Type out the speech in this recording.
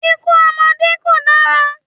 Ikú ọmọdé kò dára.